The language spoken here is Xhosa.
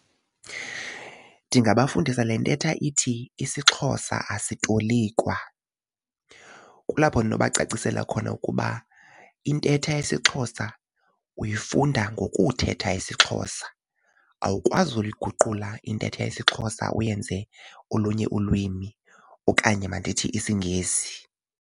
Ndingabafundisa le ntetha ithi isiXhosa asitolikwa. Kulapho ndinobacacisela khona ukuba intetha yesiXhosa uyifunda ngokuthetha isiXhosa. Awukwazi ukuliguqula intetha yesiXhosa uyenze olunye ulwimi okanye mandithi isiNgesi.